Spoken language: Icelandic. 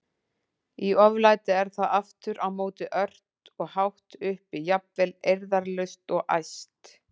Í oflæti er það aftur á móti ört og hátt uppi, jafnvel eirðarlaust og æst.